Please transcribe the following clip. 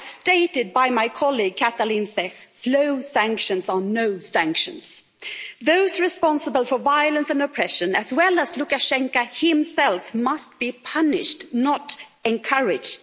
As stated by my colleague Katalin Cseh, slow sanctions are no sanctions. Those responsible for violence and oppression, as well as Lukashenko himself, must be punished, not encouraged.